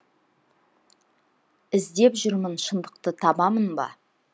іздеп жүрмін шындықты табамын ба